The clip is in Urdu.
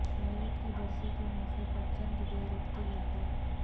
والد کی برسی کے موقع پر چند بے ربط یادیں